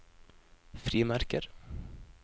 frimerker